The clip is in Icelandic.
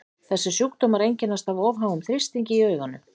þessir sjúkdómar einkennast af of háum þrýstingi inni í auganu